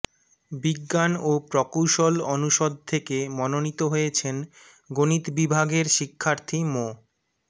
বিজ্ঞান ও প্রকৌশল অনুষদ থেকে মনোনীত হয়েছেন গণিত বিভাগের শিক্ষার্থী মো